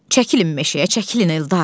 Çəkilin meşəyə, çəkilin Eldar!